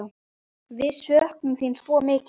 Við söknum þín svo mikið.